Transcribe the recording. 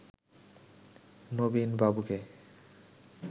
নবীন বাবুকে